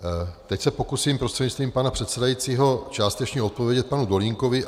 Teď se pokusím prostřednictvím pana předsedajícího částečně odpovědět panu Dolínkovi.